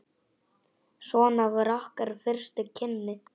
Svona voru okkar fyrstu kynni.